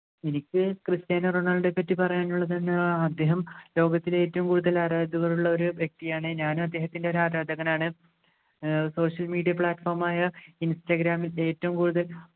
എനിക്ക് ക്രിസ്ത്യാനോ റൊണാൾഡോയെ പറ്റി പറയാനുള്ളത് എന്ന് പറഞ്ഞാൽ അദ്ദേഹം ലോകത്തിൽ ഏറ്റവും കൂടുതൽ ആരാധകരുള്ള ഒരു വ്യക്തിയാണ് ഞാൻ അദ്ദേഹത്തിൻ്റെ ഒരു ആരാധകനാണ് social media platform ആയ ഇൻസ്റ്റാഗ്രാംൽ ഏറ്റവും കൂടുതൽ